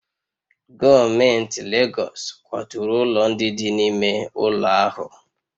Gọọmenti Legọs kwaturu ụlọ ndị dị n'ime ụlọ ahụ